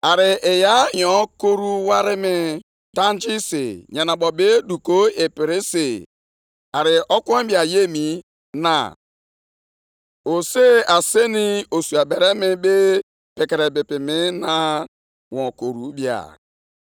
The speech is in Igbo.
Aga m arịgoro nʼelu ebe nche m, guzo onwe m nʼebe nchekwa ahụ. Aga m echerekwa ịhụ ihe ọ ga-agwa m, na ihe m ga-asa, banyere mkpesa ndị a. Ọsịsa Onyenwe anyị